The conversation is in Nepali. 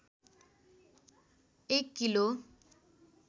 एक किलो